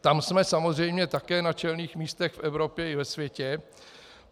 Tam jsme samozřejmě také na čelných místech v Evropě i ve světě.